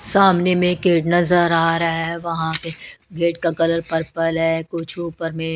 सामने में गेट नजर आ रहा है वहां के गेट का कलर पर्पल है कुछ ऊपर में--